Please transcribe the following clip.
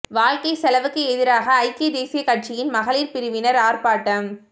வாழ்க்கை செலவுக்கு எதிராக ஐக்கிய தேசிய கட்சியின் மகளிர் பிரிவினர் ஆர்ப்பாட்டம்